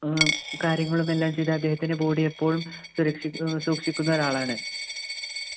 ഏർ കാര്യങ്ങളും എല്ലാം ചെയ്ത് അദ്ദേഹത്തിൻ്റെ body എപ്പോഴും സുരക്ഷി സൂക്ഷിക്കുന്ന ഒരാളാണ്